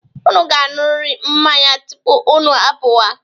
Unu ga-aṅụrịrị mmanya tupu unu apụwa.